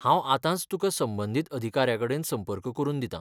हांव आतांच तुका संबंदीत अधिकाऱ्याकडेन संपर्क करून दितां.